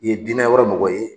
I ye dinɛ wɛrɛ mɔgɔ ye